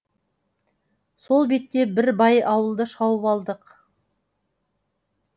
сол бетте бір бай ауылды шауып алдық